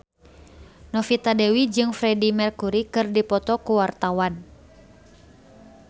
Novita Dewi jeung Freedie Mercury keur dipoto ku wartawan